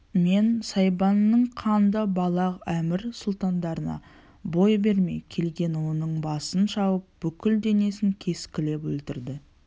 мен сайбанның қанды балақ әмір сұлтандарына бой бермей келген оның басын шауып бүкіл денесін кескілеп өлтірді